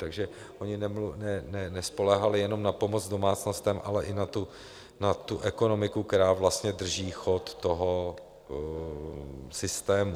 Takže oni nespoléhali jenom na pomoc domácnostem, ale i na tu ekonomiku, která vlastně drží chod toho systému.